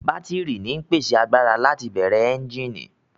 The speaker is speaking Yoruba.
Bátírì ń pèsè agbára láti bẹ̀rẹ̀ ẹ́ńjíìnì